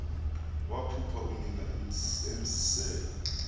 waphupha unina emzisela